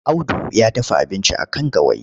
Audu ya dafa abinci a kan gawayi.